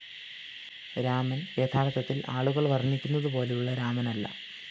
രാമന്‍ യഥാര്‍ത്ഥത്തില്‍ ആളുകള്‍ വര്‍ണ്ണിക്കുന്നതുപോലെയുള്ള രാമനല്ല